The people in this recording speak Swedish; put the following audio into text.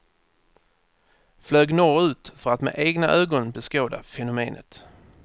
Flög norr ut för att med egna ögon beskåda fenomenet.